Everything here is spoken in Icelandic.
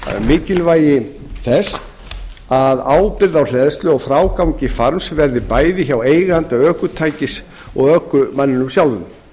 mikilvægi þess að ábyrgð á hleðslu og frágangi farms verði bæði hjá eiganda ökutækis og ökumanninum sjálfum